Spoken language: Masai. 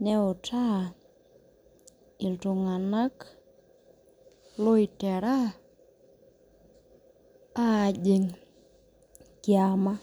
neutaa iltunganak loitera ajing kiama.